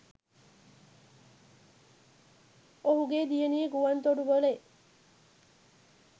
ඔහුගේ දියණිය ගුවන් තොටුපලෙ